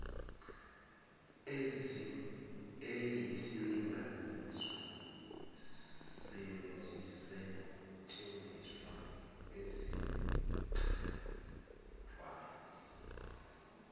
eyisilinganiso sezisetshenziswa ezichithwayo